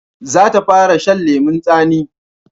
Za ta fara shan lemun tsani